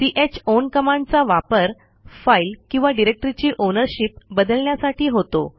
chown कमांडचा वापर file किंवा डिरेक्टरीची ओनरशिप बदलण्यासाठी होतो